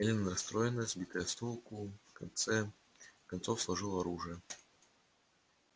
эллин расстроенная сбитая с толку в конце концов сложила оружие